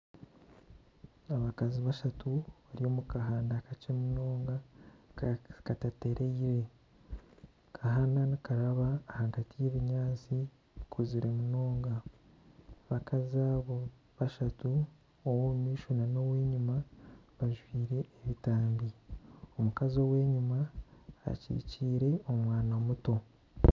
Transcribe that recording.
Abakazi bashatu bari omu kahanda kakye munonga katateereire. Akahanda nikaraba ahagati y'ebinyaatsi bikuzire munonga, abakazi abo bashatu ow'omu maisho nana ow'enyima bajwaire ebitambi, omukazi ow'enyima akikiire omwana muto.